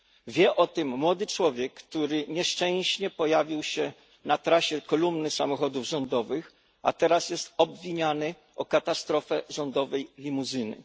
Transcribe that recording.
Wie o tym młody człowiek, który nieszczęśliwie pojawił się na trasie kolumny samochodów rządowych, a teraz jest obwiniany o katastrofę rządowej limuzyny.